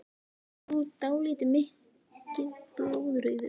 Hann er nú dálítið mikið blóðrauður!